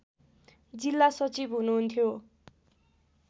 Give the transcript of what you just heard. जिल्ला सचिव हुनुहुन्थ्यो